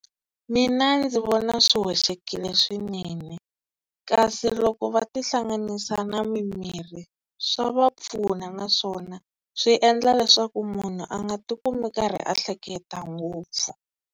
Mina ndzi vona swi hoxekile swinene, kasi loko va ti hlanganisa na mimirhi swa va pfuna naswona swi endla leswaku munhu a nga tikumi a karhi a hleketa ngopfu.